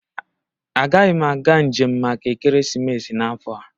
Agaghị m aga njem maka ekeresimesi n'afọ a